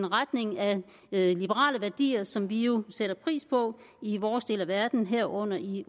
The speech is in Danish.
retning af liberale værdier som vi jo sætter pris på i vores del af verden herunder i